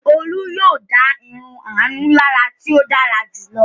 Olú yóò dá irun Àánú lára tí ó dára jù lọ.